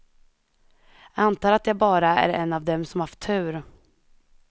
Jag antar att jag bara är en av dem som haft tur.